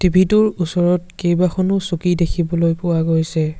ওচৰত কেইবাখনো চকী দেখিবলৈ পোৱা গৈছে।